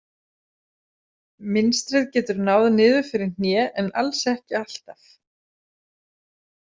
Mynstrið getur náð niður fyrir hné en alls ekki alltaf.